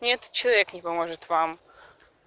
не этот человек не поможет вам